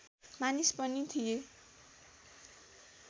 मानिस पनि थिए